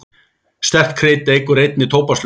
Sterkt krydd eykur einnig tóbakslöngun.